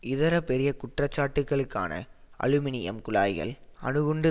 இதர பெரிய குற்றச்சாட்டுக்கலுக்கான அலுமினியம் குழாய்கள் அணுகுண்டு